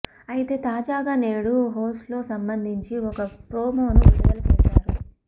అయితే తాజాగా నేడు హొస్లో సంబంధించి ఒక ప్రోమోను విడుదల చేసారు